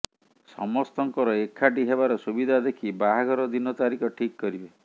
ସମସ୍ତଙ୍କର ଏକାଠି ହେବାର ସୁବିଧା ଦେଖି ବାହାଘର ଦିନ ତାରିଖ ଠିକ୍ କରିବେ